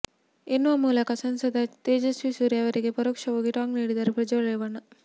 ಎನ್ನುವ ಮೂಲಕ ಸಂಸದ ತೇಜಸ್ವಿ ಸೂರ್ಯ ಅವರಿಗೆ ಪರೋಕ್ಷವಾಗಿ ಟಾಂಗ್ ನೀಡಿದ್ದಾರೆ ಪ್ರಜ್ವಲ್ ರೇವಣ್ಣ